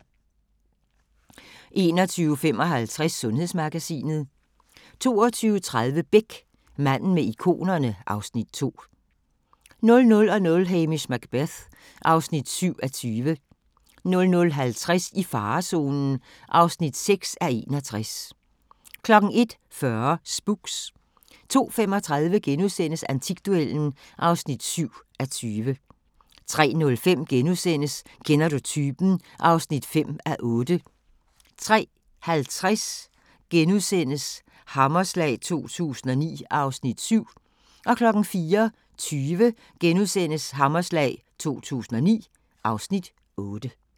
21:55: Sundhedsmagasinet 22:30: Beck: Manden med ikonerne (Afs. 2) 00:00: Hamish Macbeth (7:20) 00:50: I farezonen (6:61) 01:40: Spooks 02:35: Antikduellen (7:20)* 03:05: Kender du typen? (5:8)* 03:50: Hammerslag 2009 (Afs. 7)* 04:20: Hammerslag 2009 (Afs. 8)*